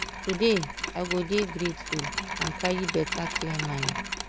today i go dey grateful and carry better clear mind.